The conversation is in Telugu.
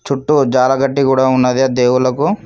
చుట్టూ జాలగడ్డి కూడా ఉన్నది ఆ దేవుళ్లకు.